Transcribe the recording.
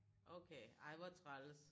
Okay ej hvor træls